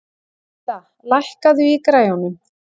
Dedda, lækkaðu í græjunum.